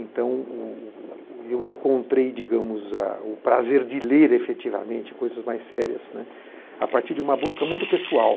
Então, o eu encontrei digamos o prazer de ler, efetivamente, coisas mais sérias, né, a partir de uma busca muito pessoal.